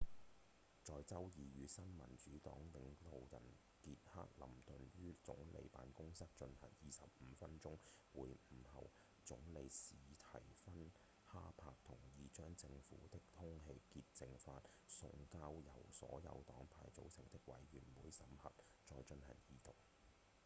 在周二與新民主黨領導人傑克‧林頓於總理辦公室進行25分鐘會晤後總理史蒂芬‧哈珀同意將政府的《空氣潔淨法》送交由所有黨派組成的委員會審核再進行二讀